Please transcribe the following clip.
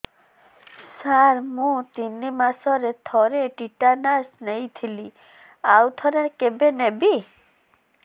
ସାର ମୁଁ ତିନି ମାସରେ ଥରେ ଟିଟାନସ ନେଇଥିଲି ଆଉ ଥରେ କେବେ ନେବି